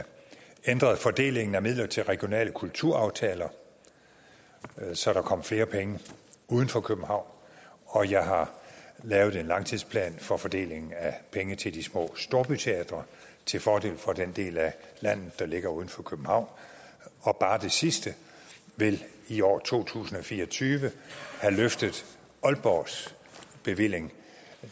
ændret fordelingen af midler til regionale kulturaftaler så der kom flere penge uden for københavn og jeg har lavet en langtidsplan for fordelingen af penge til de små storbyteatre til fordel for den del af landet der ligger uden for københavn og bare det sidste vil i år to tusind og fire og tyve have løftet aalborgs bevilling